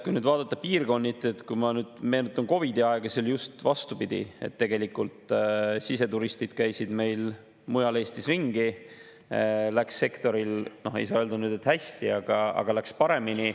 Kui nüüd vaadata piirkonniti, siis meenutades COVID‑i aega, oli just vastupidi: tegelikult siseturistid käisid mujal Eestis ringi ja sektoril läks, ei saa öelda nüüd, et hästi, aga läks paremini.